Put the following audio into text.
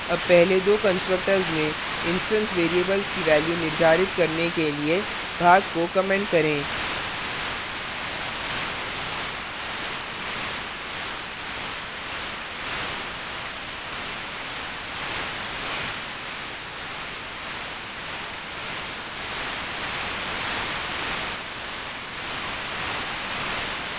अब पहले दो constructors में instance variables की values निर्धारित करने के लिए भाग को comment करें